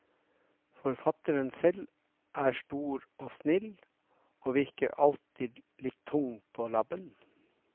Forfatteren selv er stor og snill, og virker alltid litt tung på labben.